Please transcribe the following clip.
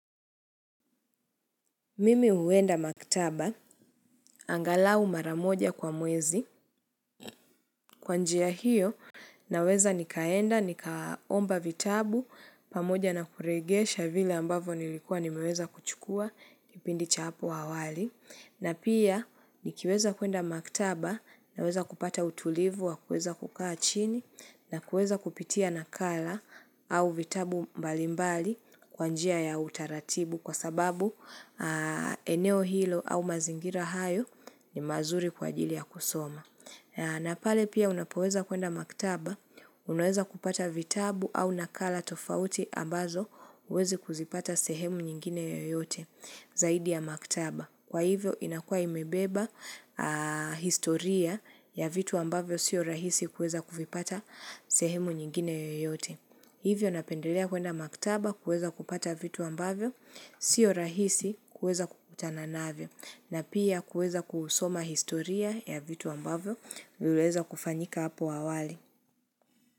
Mimi huenda maktaba, angalau mara moja kwa mwezi, kwa njia hiyo naweza nikaenda, nikaomba vitabu, pamoja na kurejesha vile ambavyo nilikuwa nimeweza kuchukua, kipindi cha hapo awali. Na pia ni kiweza kuenda maktaba na weza kupata utulivu wa kuweza kukaa chini na kuweza kupitia nakala au vitabu mbalimbali kwa njia ya utaratibu kwa sababu eneo hilo au mazingira hayo ni mazuri kwa ajili ya kusoma. Na pale pia unapoweza kuenda maktaba, unaweza kupata vitabu au nakala tofauti ambazo huwezi kuzipata sehemu nyingine yoyote zaidi ya maktaba. Kwa hivyo inakua imebeba historia ya vitu ambavyo siyo rahisi kuweza kuvipata sehemu nyingine yoyote. Hivyo napendelea kuenda maktaba kuweza kupata vitu ambavyo, sio rahisi kuweza kukutana navyo, na pia kuweza kusoma historia ya vitu ambavyo, viliweza kufanyika hapo awali.